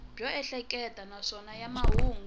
byo ehleketa naswona ya mahungu